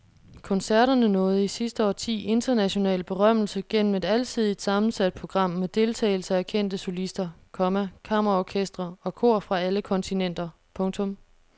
Koncerterne nåede i sidste årti international berømmelse gennem et alsidigt sammensat program med deltagelse af kendte solister, komma kammerorkestre og kor fra alle kontinenter. punktum